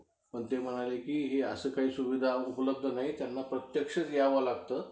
काय झालं जा~ जाऊ देईना झाले.